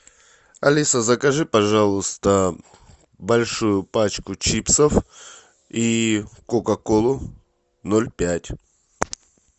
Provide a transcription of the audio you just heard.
алиса закажи пожалуйста большую пачку чипсов и кока колу ноль пять